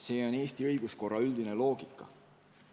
Selline on Eesti õiguskorra üldine loogika.